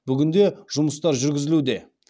бүгінде жұмыстар жүргізілуде